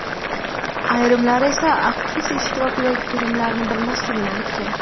Ayrimlar esa aktrisa ishtirokidagi filmlarni bilmasligini aytgan.